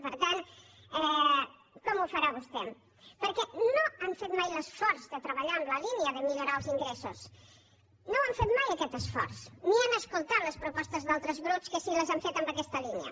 per tant com ho farà vostè perquè no han fet mai l’esforç de treballar en la línia de millorar els ingressos no han fet mai aquest esforç ni han escoltat les propostes d’altres grups que sí que les han fet en aquesta línia